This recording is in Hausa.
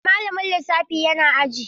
Eh, malamin lissafi yana aji.